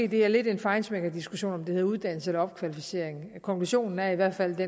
det er lidt en feinschmecker diskussion om det hedder uddannelse eller opkvalificering konklusionen er i hvert fald